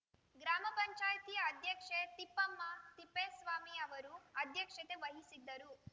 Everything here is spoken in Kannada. ಗ್ರಾಮ ಪಂಚಾಯಿತಿ ಅಧ್ಯಕ್ಷೆ ತಿಪ್ಪಮ್ಮ ತಿಪ್ಪೇಸ್ವಾಮಿ ಅವರು ಅಧ್ಯಕ್ಷತೆ ವಹಿಸಿದ್ದರು